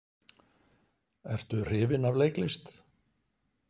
Ertu hrifinn af leiklist?